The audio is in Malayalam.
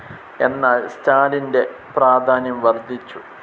എന്നാൽ സ്റ്റാലിൻ്റെ പ്രാധാന്യം വർധിച്ചു.